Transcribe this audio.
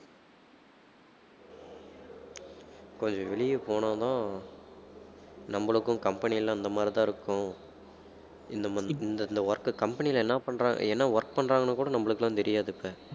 கொஞ்சம் வெளியே போனாதான் நம்மளுக்கும் company எல்லாம் இந்த மாதிரிதான் இருக்கும் இந்த மா~ இந்த இந்த work company ல என்னா பண்றாங்க என்ன work பண்றாங்கன்னு கூட நம்மளுக்கெல்லாம் தெரியாது இப்ப